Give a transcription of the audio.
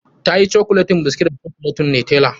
Tayin cokuleti biskit da cokuletin Nutella.